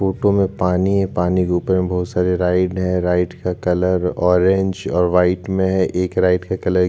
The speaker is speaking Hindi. फोटो में पानी है पानी के ऊपर में बहुत सारे राइड है राइड का कलर ऑरेंज और व्हाइट में है एक राइड का कलर --